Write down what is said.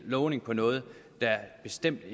lovning på noget der bestemt